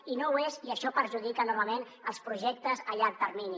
i no ho és i això perjudica enormement els projectes a llarg termini